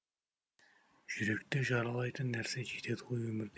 жүректі жаралайтын нәрсе жетеді ғой өмірде